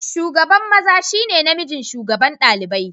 Shugaban maza shi ne namijin shugaban ɗalibai.